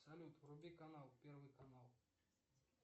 салют вруби канал первый канал